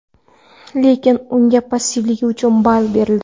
Lekin unga passivligi uchun ball berildi.